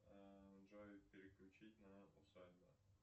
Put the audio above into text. джой переключить на усадьбу